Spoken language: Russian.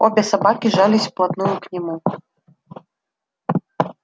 обе собаки жались вплотную к нему